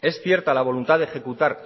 es cierta la voluntad de ejecutar